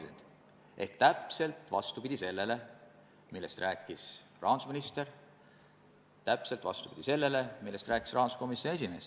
Ehk siis läheb täpselt vastupidi sellele, millest rääkis rahandusminister, täpselt vastupidi sellele, millest rääkis rahanduskomisjoni esimees.